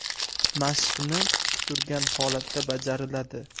Mashqni tik turgan holatda bajariladi.